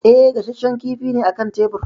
E, gashashshen kifi ne a kan tebir.